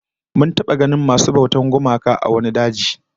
Mun taba ganin masu bautar gumaka a wani daji